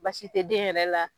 Baasi tɛ den yɛrɛ la.